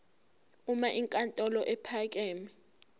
uma inkantolo ephakeme